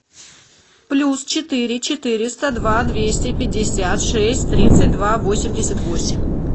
плюс четыре четыреста два двести пятьдесят шесть тридцать два восемьдесят восемь